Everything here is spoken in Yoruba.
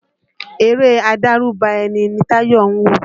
Eré adárùbà ẹni ni Táyọ̀ ń wò